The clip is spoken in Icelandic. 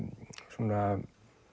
svona